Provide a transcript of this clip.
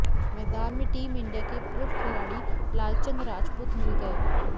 मैदान में team India के पूर्व खिलाड़ी लालचंद राजपूत मिल गए